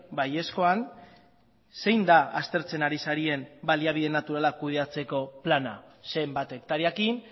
baiezkoan zein da aztertzen ari zaren baliabide naturala kudeatzeko plana zenbat hektareekin